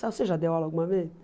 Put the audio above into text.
Você já deu aula alguma vez?